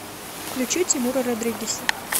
включи тимура родригеза